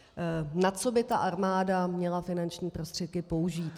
Na co by ta armáda měla finanční prostředky použít?